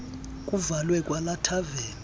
kuvalwe kwalaa thaveni